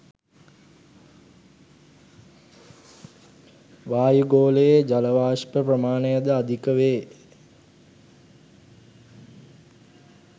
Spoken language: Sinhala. වායුගෝලයේ ජල වාෂ්ප ප්‍රමාණය ද අධික වේ